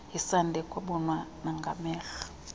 yesandi ekwabonwa nangamehlol